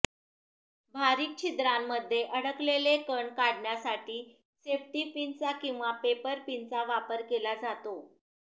बारीक छिद्रांमध्ये अडकलेले कण काढण्यासाठी सेफ्टी पिनचा किंवा पेपर पिनचा वापर केला जातो